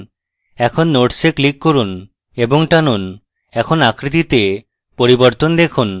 এখন nodes এ click করুন এবং টানুন এখন আকৃতিতে পরিবর্তন দেখুন